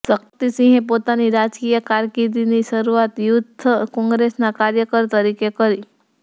શક્તિસિંહે પોતાની રાજકીય કારકિર્દીની શરૂઆત યુથ કોંગ્રેસના કાર્યકર તરીકે કરી